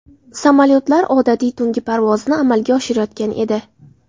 Samolyotlar odatiy tungi parvozni amalga oshirayotgan edi.